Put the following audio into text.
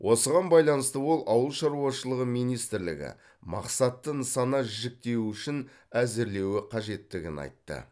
осыған байланысты ол ауыл шаруашылығы министрлігі мақсатты нысана жіктеуішін әзірлеуі қажеттігін айтты